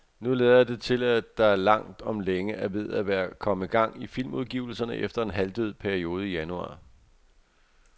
Nu lader det til at der langt om længe er ved at komme gang i filmudgivelserne efter en halvdød periode i januar.